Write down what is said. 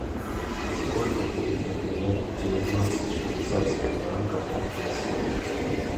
сколько будет обменять девятнадцать швейцарских франков на песо